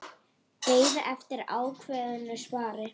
Beið eftir ákveðnu svari.